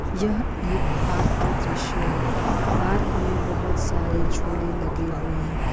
यह एक पार्क का दृश्य है पार्क में बहुत सारे झूले लगे हुए हैं।